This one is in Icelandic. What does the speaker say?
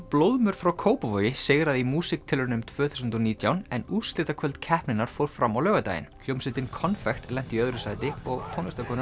blóðmör frá Kópavogi sigraði í músíktilraunum tvö þúsund og nítján en úrslitakvöld keppninnar fór fram á laugardaginn hljómsveitin konfekt lenti í öðru sæti og